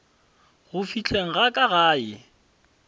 go fihleng ga ka gae